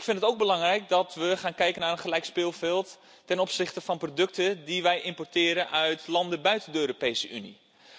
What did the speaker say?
Ik vind het ook belangrijk dat we gaan kijken naar een gelijk speelveld ten opzichte van producten die wij importeren uit landen buiten de Europese Unie.